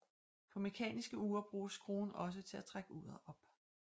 På mekaniske ure bruges skruen også til at trække uret op